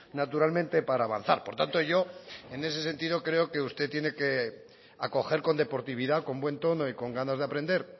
naturalmente para avanzar por tanto yo en ese sentido creo que usted tiene que acoger con deportividad con buen tono y con ganas de aprender